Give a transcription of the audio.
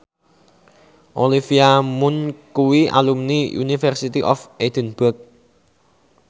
Olivia Munn kuwi alumni University of Edinburgh